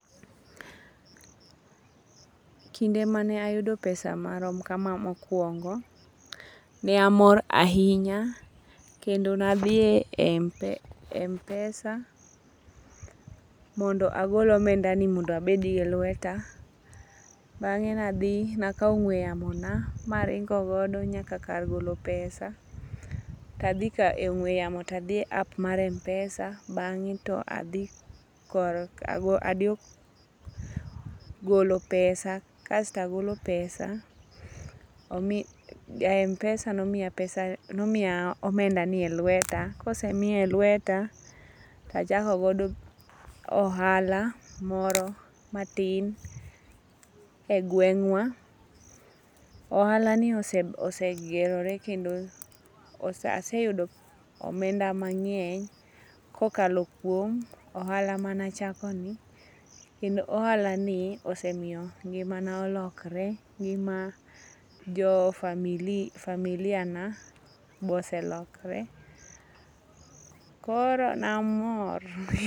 Kinde mane ayudo Pesa marom kama mokuongo, ne amor ahinya kendo nathie e Mpesa mondo agol omendani mondo abediye lweta, bange' nathi ne akawo ong'weyamona maringo' godo nyaka kar golo pesa to athii ka e ong'weyamo to athi e app mar Mpesa bange' to athi adiyo golo pesa kasto agolo pesa ja Mpesa nomiya omendani e lweta, kosemiya e lweta to achako godo ohala moro matin e gweng'wa, ohalani ose gerore kendo aseyudo omenda mange'ny kokalo kuom ohala manachakoni kendo ohalani osemiyo ngimana olokre ni mar jofamiliana be oselokre koro namor